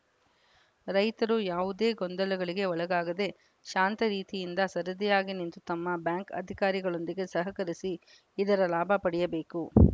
ರೈತರು ಯಾವುದೇ ಗೊಂದಲಗಳಿಗೆ ಒಳಗಾಗದೇ ಶಾಂತರೀತಿಯಿಂದ ಸರದಿಯಾಗಿ ನಿಂತು ತಮ್ಮ ಬ್ಯಾಂಕ್‌ ಅಧಿಕಾರಿಗಳೊಂದಿಗೆ ಸಹಕರಿಸಿ ಇದರ ಲಾಭ ಪಡೆಯಬೇಕು